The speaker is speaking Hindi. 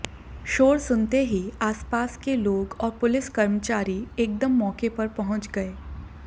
शोर सुनते ही आसपास के लोग और पुलिस कर्मचारी एकदम मौके पर पहुंच गए